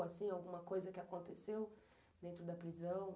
Alguma coisa que aconteceu dentro da prisão?